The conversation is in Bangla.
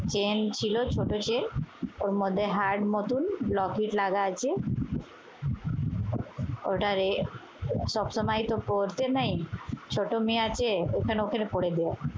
চেইন ছিল ছোট চেইন। ওর মধ্যে হাড় নতুন লকেট লাগা আছে। ওটারে সবসময় তো পড়তে নেই, ছোট মেয়ে আছে এখানে ওখানে পড়ে যায়।